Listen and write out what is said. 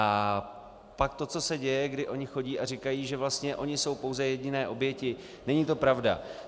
A pak to, co se děje, kdy oni chodí a říkají, že vlastně oni jsou pouze jediné oběti - není to pravda.